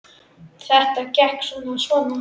Þetta gekk svona og svona.